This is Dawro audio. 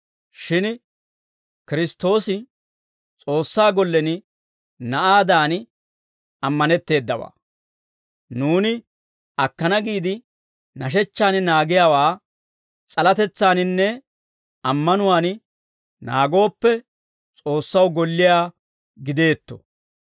Shin Kiristtoosi S'oossaa gollen na'aadan ammanetteedawaa; nuuni akkana giide nashechchaan naagiyaawaa s'alatetsaaninne ammanuwaan naagooppe, S'oossaw golliyaa gideetto.